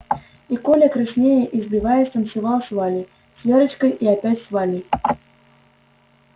и коля краснея и сбиваясь танцевал с валей с верочкой и опять с валей